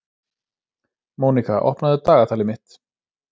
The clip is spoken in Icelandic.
Mónika, opnaðu dagatalið mitt.